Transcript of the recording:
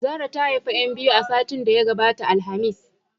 Zara ta haifi 'yan biyu a satin da ya gabata alhamis.